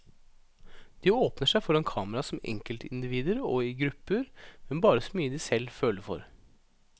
De åpner seg foran kamera som enkeltindivider og i grupper, men bare så mye de selv føler for.